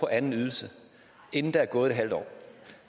anden ydelse inden der er gået et halvt år